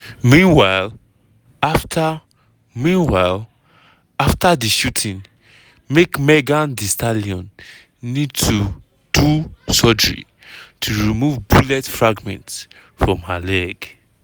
meanwhile after meanwhile after di shooting make megan thee stallion need to do surgery to remove bullet fragments from her leg.